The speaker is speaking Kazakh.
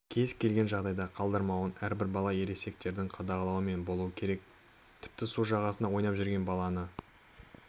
кез-келген жағдайда қалдырмауын әрбір бала ересектердің қадағалауымен болуы керек тіпті су жағасында ойнап жүрген баланы